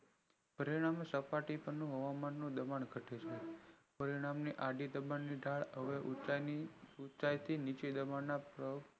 પરિણામે હવામાન ની સપાટી નું દબાણ ઘટે છે પરિણામે આડી દબાણ ની ઢાળ હવે ઉંચાઈ થી નીચી દબાણ ની ના